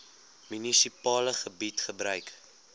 munisipale gebied gebruik